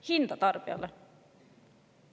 Hinda tarbijale!